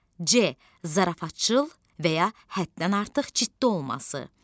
C zarafatcıl və ya həddən artıq ciddi olması.